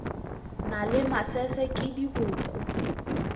na le masese ke dikobo